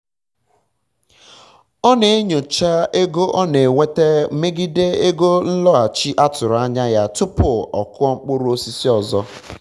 ọ na-enyocha ego ọ na-enweta megide ego nlọghachi a tụrụ anya ya tupu ọ kụọ mkpụrụ osisi ọzọ